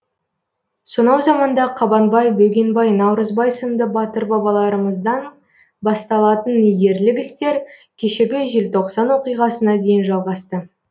сонау заманда қабанбай бөгенбай наурызбай сынды батыр бабаларымыздан басталатын ерлік істер кешегі желтоқсан оқиғасына дейін жалғасты